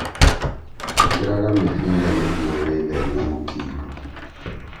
ĩkĩraga mĩbira nĩguo wĩtheme mũkingo